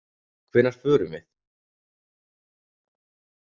Hvenær förum við?